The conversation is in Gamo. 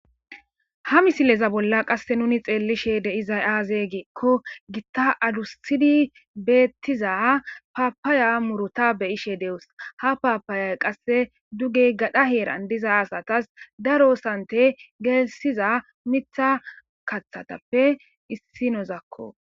Ha missilezan bolla qasse nuni xelishshe de'zay aze giikko gitta adusiidi bettiza papaya murutta be'ashshe detees ha oapayay qasse duge gadhdha herran diiza assatas daro sate betizay miththa kaththattappe issinazakko